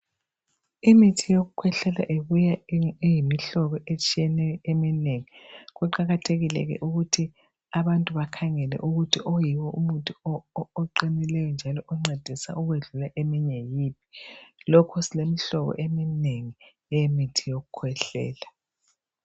imithi yokukhwehlela ibuya iyimihlobo etshiyeneyo eminengi kuqakathekile ke ukuthi oyiwo umuthi oqinileyo njalo oncedisa okudlula yiphi lokhu silemihlobo eminengi yemithi yokukhwehlela